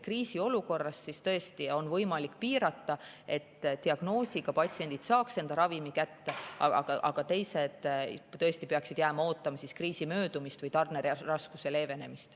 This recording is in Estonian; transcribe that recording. Kriisiolukorras on tõesti võimalik müüki piirata, et diagnoosiga patsiendid saaks ravimi kätte, aga teised jäävad ootama kriisi möödumist või tarneraskuste leevenemist.